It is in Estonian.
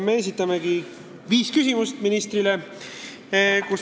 Me esitame ministrile viis küsimust.